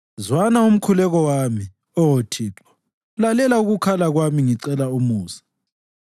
Zwana umkhuleko wami, Oh Thixo; lalela ukukhala kwami ngicela umusa.